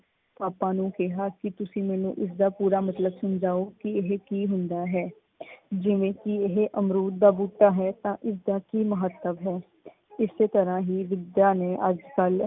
ਪਾਪਾ ਨੂੰ ਕਿਹਾ ਕੀ ਤੁਸੀਂ ਮੈਨੂੰ ਉਸ ਦਾ ਪੂਰਾ ਮਤਲਬ ਸਮਝਾਓ ਕੀ ਇਹ ਕੀ ਹੁੰਦਾ ਹੈ? ਜਿਵੇ ਕੀ ਇਹ ਅਮਰੂਦ ਦਾ ਬੁੱਟਾਂ ਹੈ ਤਾਂ ਇਸਦਾ ਕੀ ਮਹੱਤਵ ਹੈ? ਇਸੇ ਤਰ੍ਹਾਂ ਹੀ ਵਿੱਦਿਆ ਨੇ ਅੱਜ ਕਲ